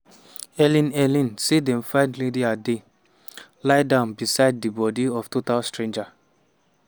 helen helen say dem find linda dey "lie down beside di bodi of total stranger".